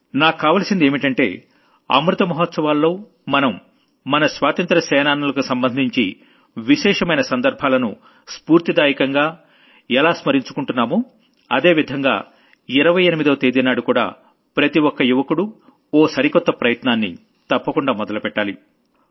నాక్కావాల్సిందేంటంటే అమృత మహోత్సవాల్లో మనం మన స్వాతంత్ర్య సేనానులకు సంబంధించి విశేషమైన సందర్భాలను ఎలా సెలబ్రేట్ చేసుకుంటున్నామో అదే విధంగా సెప్టెంబర్ 28వ తేదీనాడుకూడా ప్రతి ఒక్క యువకుడూ ఓ సరికొత్త ప్రయత్నాన్ని తప్పకుండా మొదలుపెట్టాలి